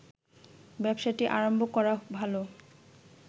ব্যবসাটি আরম্ভ করা ভালো